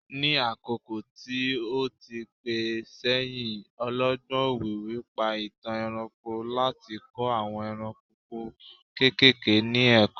ní àkókò tí o ti pẹ sẹyìn, ọlọgbọn òwìwí pa itan ẹranko láti kọ àwọn eranko kekere ni ẹkọ